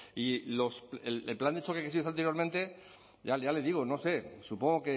y el plan de choque que se hizo anteriormente ya le digo no sé supongo